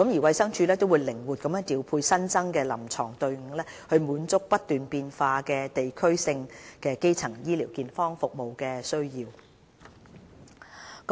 衞生署會靈活調派新增的臨床隊伍提供服務，以滿足不斷變化的地區性基層健康服務需要。